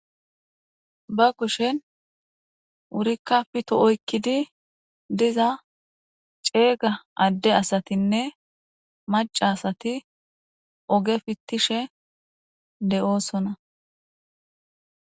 Ba kushe wurikka pito oykkidi diza ceega adde asatinne macca asati oge pitishe de'oosona.